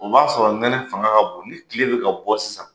O b'a sɔrɔ nɛnɛ fanga ka bon, ni tile bɛ ka bɔ sisan,